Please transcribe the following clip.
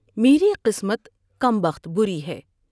میری قسمت کم بخت بری ہے ۔